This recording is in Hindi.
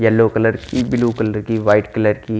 येलो कलर की ब्लू कलर की वाइट कलर की--